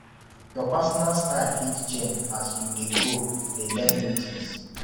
your personal style fit change as you dey grow dey learn new things